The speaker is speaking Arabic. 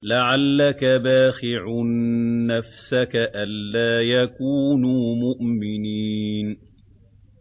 لَعَلَّكَ بَاخِعٌ نَّفْسَكَ أَلَّا يَكُونُوا مُؤْمِنِينَ